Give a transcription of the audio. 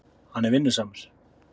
Hann er vinnusamur.